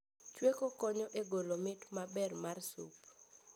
Chweko konyo e golo mit maber mar sup